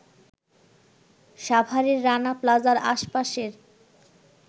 সাভারের রানা প্লাজার আশপাশের